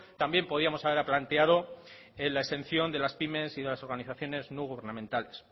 también podíamos haber planteado en la exención de la pymes y de las organizaciones no gubernamentales